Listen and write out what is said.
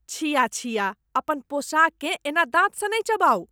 छिया छिया, अपन पोशाककेँ एना दाँतसँ नहि चिबाउ।